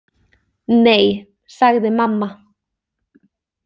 Nei, sagði mamma.